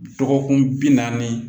Dɔgɔkun bi naani